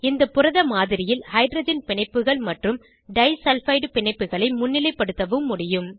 இந்த புரத மாதிரியில் ஹைட்ரஜன் பிணைப்புகள் மற்றும் டை சல்பைடு பிணைப்புகளை முன்னிலைப்படுத்தவும் முடியும்